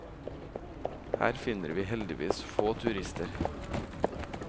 Her finner vi heldigvis få turister.